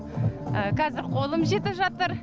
қазір қолым жетіп жатыр